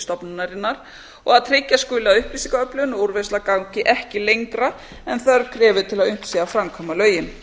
stofnunarinnar og að tryggja skuli að upplýsingaöflun og úrvinnsla gangi ekki lengra en þörf krefur til að unnt sé að framkvæma lögin